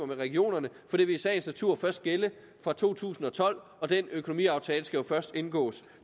med regionerne for det vil i sagens natur først gælde fra to tusind og tolv og den økonomiaftale skal jo først indgås